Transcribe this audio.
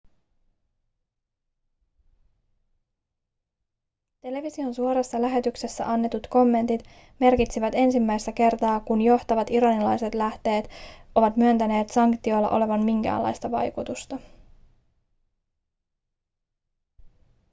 television suorassa lähetyksessä annetut kommentit merkitsivät ensimmäistä kertaa kun johtavat iranilaiset lähteet ovat myöntäneet sanktioilla olevan minkäänlaista vaikutusta